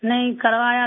नहीं करवाया था